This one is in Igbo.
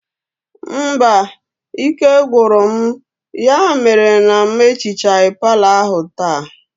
Mba, ike gwụrụ m ya mere na m ehichaghi palọ ahụ taata